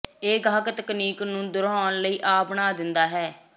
ਇਹ ਗਾਹਕ ਤਕਨੀਕ ਨੂੰ ਦੁਹਰਾਉਣ ਲਈ ਆ ਬਣਾ ਦਿੰਦਾ ਹੈ